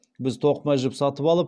біз тоқыма жіп сатып алып